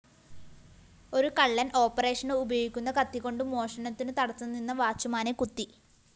ഒരു കള്ളന്‍ഓപ്പറേഷന് ഉപയോഗിക്കുന്ന കത്തികൊണ്ടു മോഷണത്തിനു തടസ്സംനിന്ന വാച്ചുമാനെ കുത്തി